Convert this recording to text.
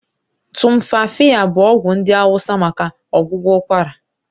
Tumfafiya bụ ọgwụ ndị hausa maka ọgwụgwọ ụkwara.